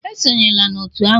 Esonyela na otu ahụ!